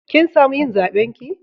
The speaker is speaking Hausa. Kin samu yin zaben ki?